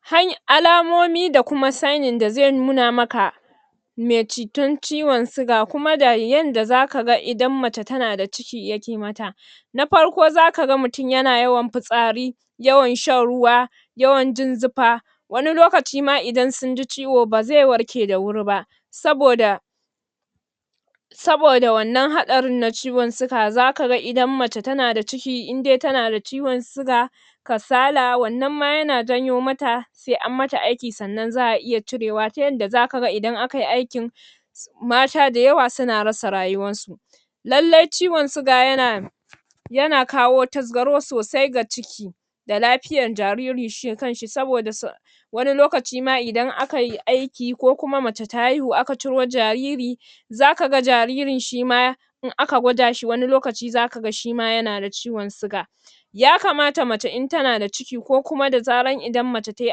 hay Alamomi da kuma sanin da zai koya maka mai cutar ciwon siga kuma da yadda zaka ga idan mace tana da ciki yake mata na farko zaka ga mutum yana yawan fitsari yawan shan ruwa yawn jin zufa wani lokacin ma idan sun ji ciwo ba zai warke da wuri ba saboda saboda wannan haɗarin na ciwon siga zaka ga idan mace tana da ciki, indai tana da ciwon siga kasala wannan ma yana janyo mata sai anyi mata aiki sannan za'a iya cirewa ta yadda zaka ga idan akai aikin mata da yawa suna rasa rayuwar su lallai ciwon siga yana da yana kawo taskaro sosai ga ciki da lafiyar jariri shi kanshi saboda wani lokaci ma idan akai aiki ko kuma mace ta haihu aka ciro jariri zaka ga jaririn shima in aka gwada shi wani lokaci zaka shima yana da ciwon siga yakamata mace in tana da ciki ko kuma da zarar idan mace tayi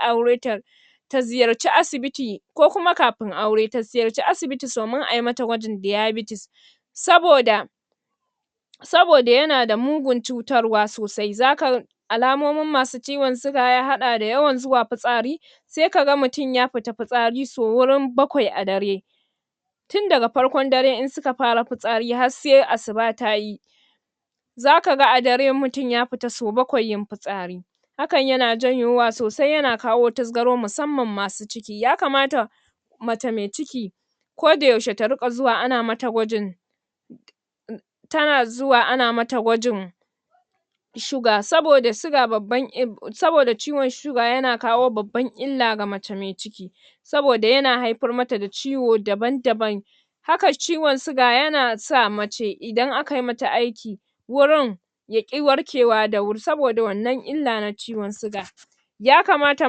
aure ta ta ziyarci asibiti ko kuma kafin aure ta ziyarce asibiti domin ayi mata gwajin diabetes saboda saboda yana da mugun cutarwa sosai zaka ga alamomin masu ciwon siya ya haɗa da yawan zuwa fitsari sai kaga mutum ya fita fitsari sau wurin bakwai a dare tun daga farkon dare in suka fara fitsari sai asuba tayi za kaga a dare mutum ya fita sau bakwai yin fitsari hakan yana janyowa sosai yana kawo taskaro musamman masu ciki yakamata mace mai ciki ko da yaushe ta riƙa zuwa ana mata gwajin tana zuwa ana mata gwajin sugar saboda siga babban il saboda ciwon siga yana kawo babbar illa ga mace mai ciki saboda yana haifar mata da ciwo daban daban haka ciwon siga yana sa mace idan akayi mata aiki wurin yaƙi warkewa da wurin saboda wannan illa na ciwon siga yakamata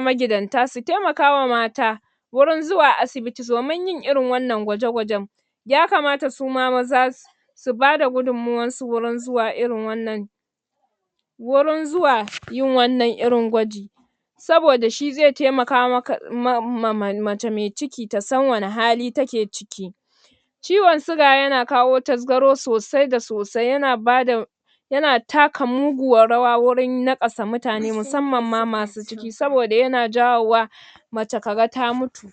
magidanta su taimakawa mata wurin zuwa asibiti domin yin irin wannan gwaje gwajen yakamata suma maza su su bada gudunmawar su wajan zuwa irin wannan wurin zuwa yin wannan irin gwaji saboda shi zai taimaka maka um mace mai ciki tasan wanne hali take ciki ciwon siga yana kawo tasgaro sosai da sosai yana bada yana taka muguwar rawa wajan naƙasa mutane musamman masu ciki saobda yana jawowa mace kaga ta mutu